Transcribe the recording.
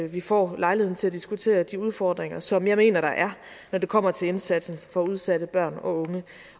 vi får lejlighed til at diskutere de udfordringer som jeg mener der er når det kommer til indsatsen for udsatte børn og unge